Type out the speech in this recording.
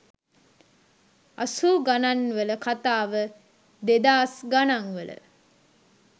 අසූ ගණන්වල කතාව දෙදාස් ගණන්වල